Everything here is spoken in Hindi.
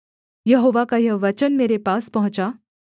यहोवा का यह वचन मेरे पास पहुँचा